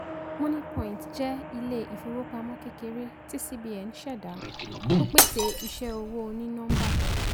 moniepoint jẹ ilé-ìfowópamọ́ kékeré tí cbn ṣẹda ó pèsè iṣẹ owó oní-nọ́ḿbà